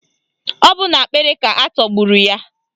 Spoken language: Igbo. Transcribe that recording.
Ọ bụ n'akpịrị ka atọgburu ya.